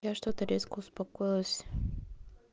я что-то резко успокоилась